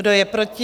Kdo je proti?